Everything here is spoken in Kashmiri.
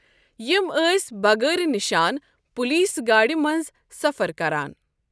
یِم ٲسۍ بغٲرِ نِشان پُلیٖس گاڑِ منٛز سفر کَران۔